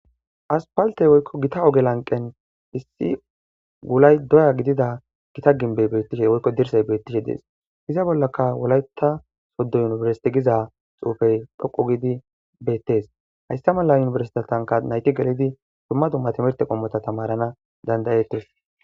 Aspalte woykon gita oge lamqen issi wullay doya gidida gimbey woyko dirsay beetes. Wolata sodo University giza xuufey dhoqu giidi betees. Haysa mala timirte kethanka duma duma timirte qommo nayti tamarana danda'etees.